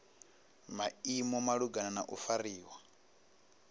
maimo malugana na u fariwa